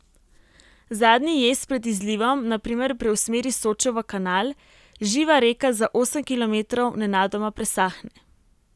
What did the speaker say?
Zadnji jez pred izlivom na primer preusmeri Sočo v kanal, živa reka za osem kilometrov nenadoma presahne.